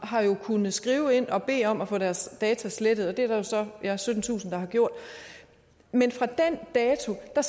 har jo kunnet skrive ind og bede om at få deres data slettet og det er der jo så syttentusind der har gjort men fra den dato er